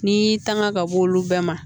N'i y'i tanga ka b'olu bɛɛ ma